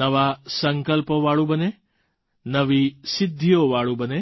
નવા સંકલ્પોવાળું બને નવી સિદ્ધિઓવાળું બને